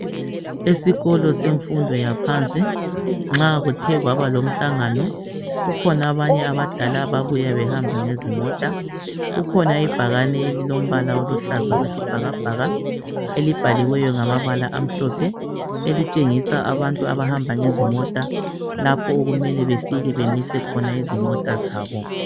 Isikolo sabantu semfundo yaphansi nxa kuthe kwaba lomhlangano kukhona abanye abadla ababuya behamba ngezimota, kukhona ibhakane elilombala owesibhakabhaka elibhaliweyo ngamabala amhlophe elitshengisa abantu abahamba ngezimota lapho okumele befike bemise khona izimota zabo.